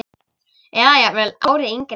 Eða jafnvel ári yngri.